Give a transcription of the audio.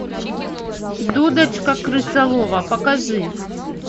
дудочка крысолова покажи